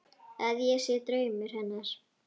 Að ég sé draumur hennar.